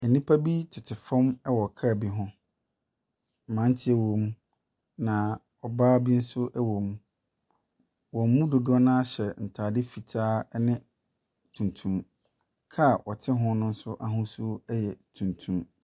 Nnipa bi tete fam wɔ kaa bi ho. Mmeranteɛ wɔ mu, na ɔbaa bi nso wɔ mu. Wɔn mu dodoɔ no ara hyɛ ntade fitaa ne tuntum. Kaa a ɔte ho no nso ahosuo yɛ tuntum.